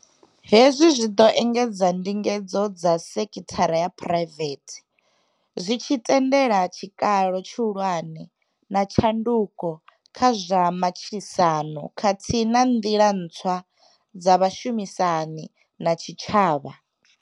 Hezwi zwi ḓo engedza ndingedzo dza sekhithara ya phuraivethe, zwi tshi tendela tshikalo tshihulwane na tshanduko kha zwa matshilisano khathihi na nḓila ntswa dza vhushumisani na tshitshavha.